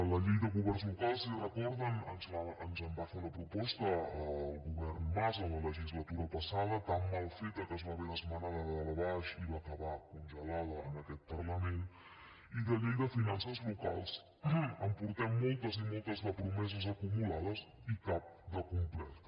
la llei de governs locals si ho recorden ens en va fer una proposta el govern mas a la legislatura passada tan mal feta que es va haver d’esmenar de dalt a baix i va acabar congelada en aquest parlament i de llei de finances locals en portem moltes i moltes de promeses acumulades i cap de complerta